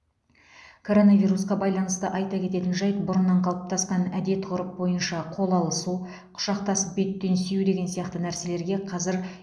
коронавирусқа байланысты айта кететін жайт бұрыннан қалыптасқан әдет ғұрып бойынша қол алысу құшақтасып беттен сүю деген сияқты нәрселерге қазир